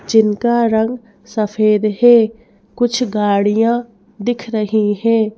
जिनका रंग सफेद है कुछ गाड़ियां दिख रही है।